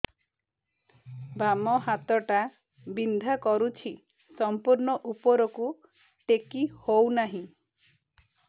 ବାମ ହାତ ଟା ବିନ୍ଧା କରୁଛି ସମ୍ପୂର୍ଣ ଉପରକୁ ଟେକି ହୋଉନାହିଁ